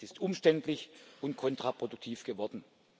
sie ist umständlich und kontraproduktiv geworden.